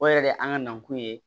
O yɛrɛ de ye an ka nakun ye